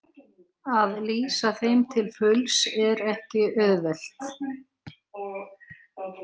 Að lýsa þeim til fulls er ekki auðvelt.